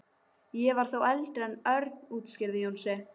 Ég var þó eldri en Örn útskýrði Jónsi.